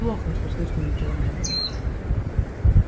плохо что слышно ничего не было